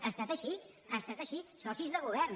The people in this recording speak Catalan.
ha estat així ha estat així socis de govern